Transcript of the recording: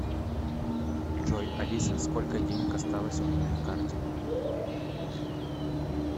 джой алиса сколько денег осталось у меня на карте